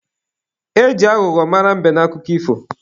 E ji aghụghọ mara mbe n'akụkọ ifo.